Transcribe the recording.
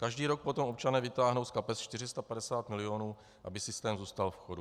Každý rok potom občané vytáhnou z kapes 450 mil., aby systém zůstal v chodu.